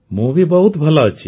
ମୁଁ ବହୁତ ଭଲ ଅଛି